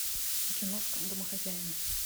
киношка домохозяин